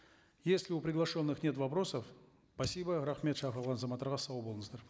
если у приглашенных нет вопросов спасибо рахмет шақырылған азаматтарға сау болыңыздар